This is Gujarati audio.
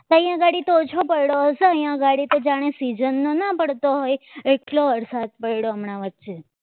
અહીંયા આગળ તો ઓછો પડ્યો અહીંયા આગળ તો જાણે છે ના પડતો હોય એટલો વરસાદ પડ્યો હમણાં વચ્ચે